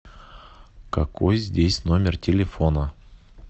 какой здесь номер телефона